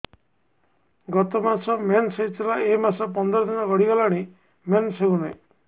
ଗତ ମାସ ମେନ୍ସ ହେଇଥିଲା ଏ ମାସ ପନ୍ଦର ଦିନ ଗଡିଗଲାଣି ମେନ୍ସ ହେଉନାହିଁ